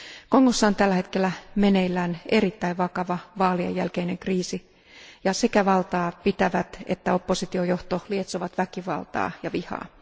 Kongossa on tällä hetkellä meneillään erittäin vakava vaalien jälkeinen kriisi ja sekä valtaa pitävät että oppositiojohto lietsovat väkivaltaa ja vihaa.